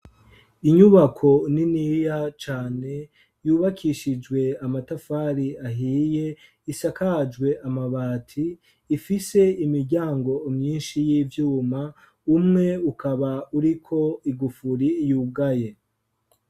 inyubako niniya cane, yubakishijwe amatafari ahiye, isakajwe amabati, ifise imiryango myinshi y'ivyuma, umwe ukaba uri ko igufuri yugaye.